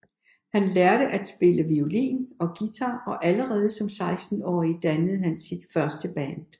Han lærte at spille violin og guitar og allerede som 16 årig dannede han sit første band